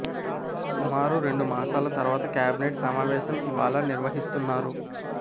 సుమారు రెండు మాసాల తర్వాత కేబినెట్ సమావేశం ఇవాళ నిర్వహిస్తున్నారు